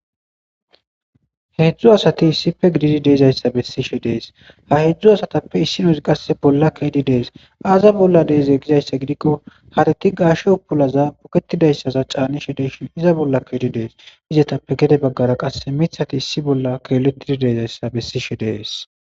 Hezdzdu asati isippe gididi de"dizayissa besishsh des ha hezdzdu asatappe isinozi qase bolla ke'idi des aza bolla dize gizayssa gidikko karet buketida gashshe utulaza buketidayssa bolla canishshe de'ishshin iza bolla ke'idi dettes izetappe gede bagara miththati issi bolla keeletidi de'izayssa besishshe de'ess